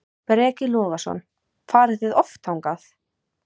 Breki Logason: Farið þið oft þangað?